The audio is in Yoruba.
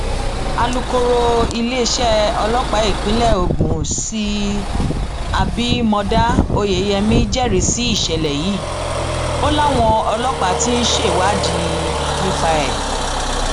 alūkọrọ iléeṣẹ ọlọpàá ìpínlẹ ogun s abimodá oyeyèmí jẹrìí sí ìṣẹlẹ yìí o láwọn ọlọpàá ti ń ṣèwádìí nípa ẹ